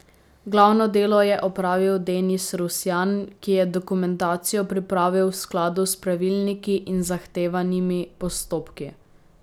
Glavno delo je opravil Denis Rusjan, ki je dokumentacijo pripravil v skladu s pravilniki in zahtevanimi postopki.